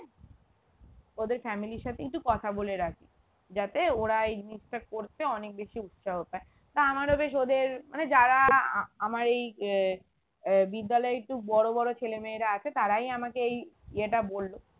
ওদের family এর সাথে একটু কথা বলে রাখি যাতে ওরা এই জিনিসটা করতে অনেক বেশি উৎসাহ পায় তা আমার বেশ ওদের মানে যারা আহ আমার এই আহ আহ বিদ্যালয়ে একটু বড়ো বড়ো ছেলেমেয়েরা আসে তারাই আমাকে এই য়ে টা বললো